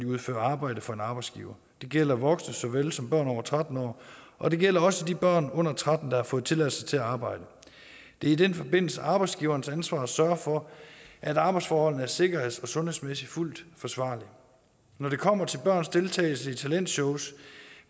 udfører arbejde for en arbejdsgiver det gælder voksne såvel som børn over tretten år og det gælder også de børn under tretten år der har fået tilladelse til at arbejde det er i den forbindelse arbejdsgiverens ansvar at sørge for at arbejdsforholdene er sikkerheds og sundhedsmæssigt fuldt forsvarlige når det kommer til børns deltagelse i talentshows